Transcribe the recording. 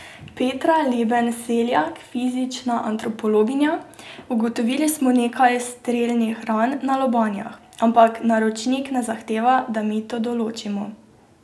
Petra Leben Seljak, fizična antropologinja: 'Ugotovili smo nekaj strelnih ran na lobanjah, ampak naročnik ne zahteva, da mi to določimo'.